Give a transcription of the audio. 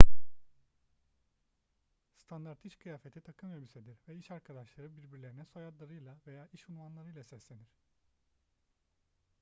standart iş kıyafeti takım elbisedir ve iş arkadaşları birbirlerine soyadlarıyla veya iş unvanlarıyla seslenir